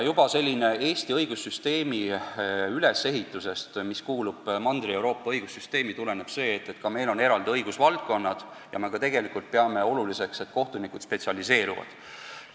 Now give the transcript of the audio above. Juba sellisest Eesti õigussüsteemi ülesehitusest, mis vastab Mandri-Euroopa õigussüsteemile, tuleneb see, et ka meil on eraldi õigusvaldkonnad ja me peame oluliseks, et kohtunikud spetsialiseeruvad.